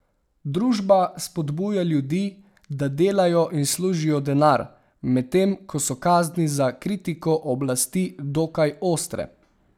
Družba spodbuja ljudi, da delajo in služijo denar, medtem ko so kazni za kritiko oblasti dokaj ostre.